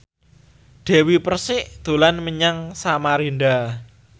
Dewi Persik dolan menyang Samarinda